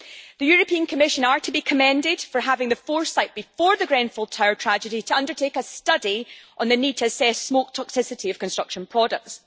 The European Commission are to be commended for having the foresight before the Grenfell Tower tragedy to undertake a study on the need to assess the smoke toxicity of construction products.